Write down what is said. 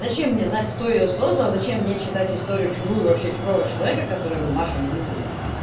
зачем мне знать кто её создал зачем мне читать историю чужую вообще чужого человека который мне нахрен не нужен